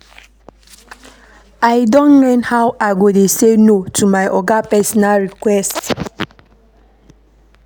I don learn how I go dey sey no to my oga personal request.